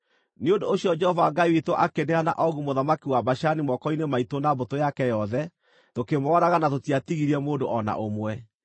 Nĩ ũndũ ũcio Jehova Ngai witũ akĩneana Ogu mũthamaki wa Bashani moko-inĩ maitũ na mbũtũ yake yothe. Tũkĩmooraga na tũtiatigirie mũndũ o na ũmwe.